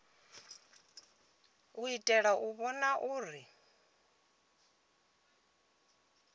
u itela u vhona uri